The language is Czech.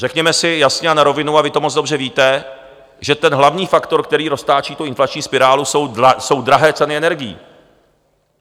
Řekneme si jasně a na rovinu, a vy to moc dobře víte, že ten hlavní faktor, který roztáčí tu inflační spirálu, jsou drahé ceny energií.